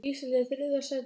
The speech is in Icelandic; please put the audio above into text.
Ísland er í þriðja sæti.